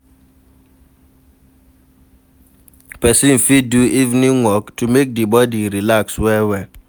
Person fit do evening walk to make di body relax well well